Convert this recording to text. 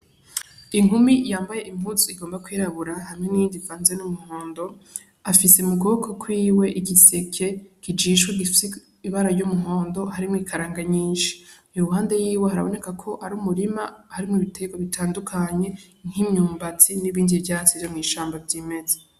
Inkumi yambaye impuzu igomba kwirabura hamwe n'iyindi ivanze n'umuhondo, afise mukuboko kwiwe igiseke kijishwe gifise ibara ry'umuhondo harimwo ikaranga nyinshi. Iruhande yiwe haraboneka ko ari umurima harimwo ibiterwa bitandukanye, nk'imyumbati n'ibindi vyatsi vyo mw'ishamba vyimeza.